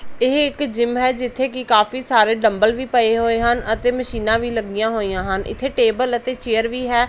ਇਹ ਇੱਕ ਜਿੱਮ ਹੈ ਜਿੱਥੇ ਕੀ ਕਾਫੀ ਸਾਰੇ ਡੰਬੈਲ ਵੀ ਪਏ ਹੋਏ ਹਨ ਅਤੇ ਮਸ਼ੀਨਾਂ ਵੀ ਲੱਗਿਆ ਹੋਈਆਂ ਹਨ ਇੱਥੇ ਟੇਬਲ ਅਤੇ ਚੇਅਰ ਵੀ ਹੈ।